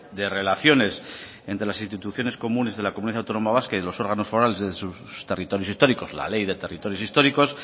de relaciones entre las instituciones comunes de la comunidad autónoma vasca y los órganos forales de sus territorios históricos la ley de territorios históricos